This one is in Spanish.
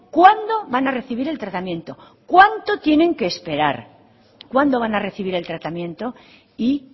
cuándo van a recibir el tratamiento cuánto tienen que esperar cuándo van a recibir el tratamiento y